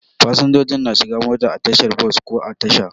Fasinjoji na shigan mota a tashar bos ko a Tasha.